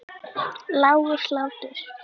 Lágur hlátur.